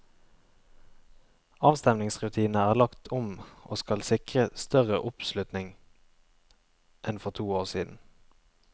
Avstemningsrutinene er lagt om og skal sikre større oppslutning enn for to år siden.